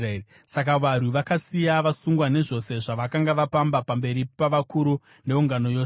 Saka varwi vakasiya vasungwa nezvose zvavakanga vapamba pamberi pavakuru neungano yose.